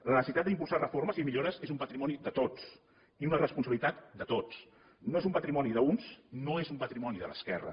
la necessitat d’impulsar reformes i millores és un patrimoni de tots i una responsabilitat de tots no és un patrimoni d’uns no és un patrimoni de l’esquerra